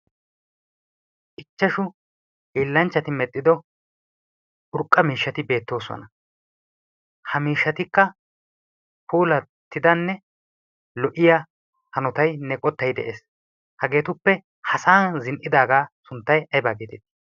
ichchashu hiellanchchati medhdhido urqqa miishshati beettoosona. ha miishshatikka puulattidanne lo77iya hanotainne qottai de7ees. hageetuppe ha sa7an zin77idaagaa sunttai aibaa geeteetii?